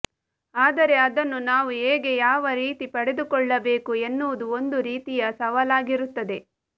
ಆದರೆ ಅದನ್ನು ನಾವು ಹೇಗೆ ಯಾವರೀತಿ ಪಡೆದುಕೊಳ್ಳಬೇಕು ಎನ್ನುವುದು ಒಂದು ರೀತಿಯ ಸವಾಲಾಗಿರುತ್ತದೆ